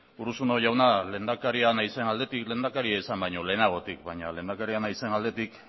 urruzuno jauna lehendakaria naizen aldetik lehendakaria izan baino lehenagotik baina lehendakaria naizen aldetik